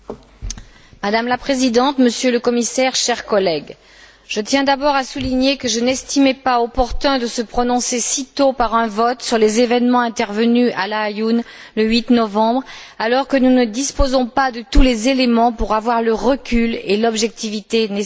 Madame la Présidente, Monsieur le Commissaire, chers collègues, je tiens d'abord à souligner que je n'estimais pas opportun de nous prononcer si tôt par un vote sur les événements intervenus à Laâyoune, le 8 novembre, alors que nous ne disposons pas de tous les éléments pour avoir le recul et l'objectivité nécessaires.